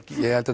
ég held